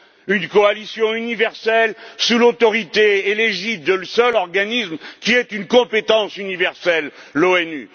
une coalition universelle sous l'autorité et l'égide du seul organisme qui ait une compétence universelle l'ONU.